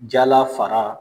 Jala fara